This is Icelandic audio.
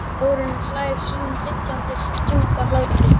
Þórunn hlær sínum dillandi djúpa hlátri.